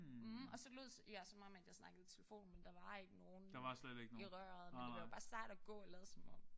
Og så lod jeg som om at jeg snakkede i telefon men der var ikke nogen i røret. Men det var bare sejt at gå og lade som om